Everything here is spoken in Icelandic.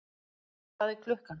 Hvað er klukkan?